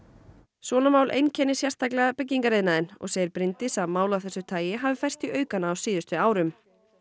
svona mál einkenni sérstaklega byggingariðnaðinn og segir Bryndís að mál af þessu tagi hafi færst í aukana á síðustu árum